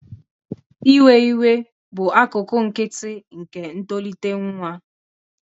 Iwe iwe bụ akụkụ nkịtị nke ntolite nwa.